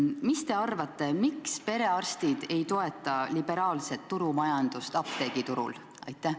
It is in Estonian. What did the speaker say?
Mis te arvate, miks perearstid ei toeta liberaalset turumajandust apteegiturul?